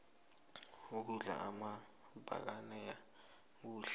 ukudla amabhanana kuhle